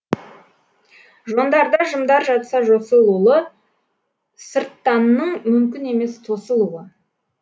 жондарда жымдар жатса жосылулы сырттанның мүмкін емес тосылуы